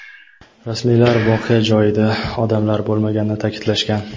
Rasmiylar voqea joyida odamlar bo‘lmaganini ta’kidlashgan.